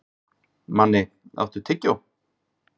Manni, áttu tyggjó?